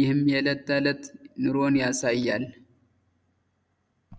ይህም የዕለት ተዕለት ኑሮን ያሳያል።